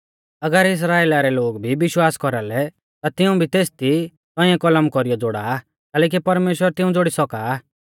अगर इस्राइला रै लोग भी विश्वासा कौरालै ता तिऊं भी तेसदी तौंइऐ कलम कौरीयौ ज़ोड़ा आ कैलैकि परमेश्‍वर तिऊं ज़ोड़ी सौका आ